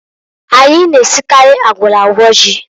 Anyị na-esikarị agwọrọ agwọ ji.